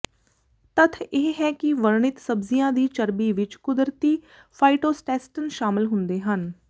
ਤੱਥ ਇਹ ਹੈ ਕਿ ਵਰਣਿਤ ਸਬਜ਼ੀਆਂ ਦੀ ਚਰਬੀ ਵਿੱਚ ਕੁਦਰਤੀ ਫਾਇਟੋਸਟੈਸਟਨ ਸ਼ਾਮਲ ਹੁੰਦੇ ਹਨ